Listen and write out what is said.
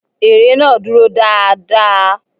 Ère náà dúró dáa dáa.